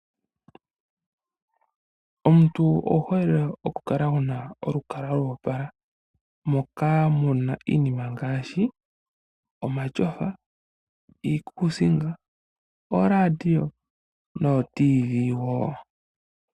Omuntu owu hole oku kala wuna olukalwa lwa opala, moka muna iinima ngaashi:omasofa, iikusinga, oo radio noo TV woo.